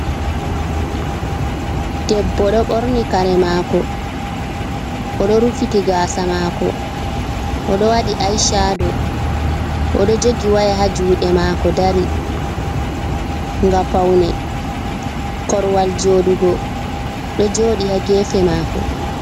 Debbo ɗo ɓorni kare mako, oɗo rufiti gasa mako, oɗo waɗi ai shado, oɗo jogi waya ha juɗe mako dari, ngam paune korwal joɗugo ɗo joɗi ha gefe mako.